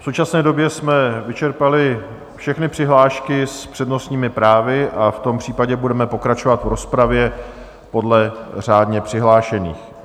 V současné době jsme vyčerpali všechny přihlášky s přednostními právy, a v tom případě budeme pokračovat v rozpravě podle řádně přihlášených.